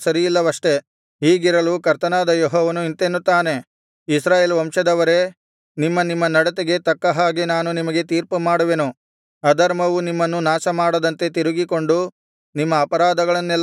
ಹೀಗಿರಲು ಕರ್ತನಾದ ಯೆಹೋವನು ಇಂತೆನ್ನುತ್ತಾನೆ ಇಸ್ರಾಯೇಲ್ ವಂಶದವರೇ ನಿಮ್ಮ ನಿಮ್ಮ ನಡತೆಗೆ ತಕ್ಕ ಹಾಗೆ ನಾನು ನಿಮಗೆ ತೀರ್ಪುಮಾಡುವೆನು ಅಧರ್ಮವು ನಿಮ್ಮನ್ನು ನಾಶಮಾಡದಂತೆ ತಿರುಗಿಕೊಂಡು ನಿಮ್ಮ ಅಪರಾಧಗಳನ್ನೆಲ್ಲಾ ಬಿಟ್ಟುಬಿಡಿರಿ